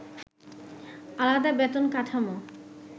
আলাদা বেতন কাঠামো